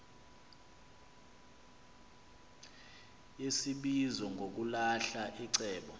yesibizo ngokulahla iceba